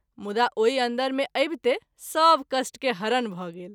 मुदा ओहि अन्दर मे अबिते सभ कष्ट के हरण भ’ गेल।